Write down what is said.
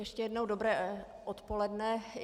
Ještě jednou dobré odpoledne.